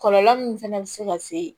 Kɔlɔlɔ min fana bɛ se ka se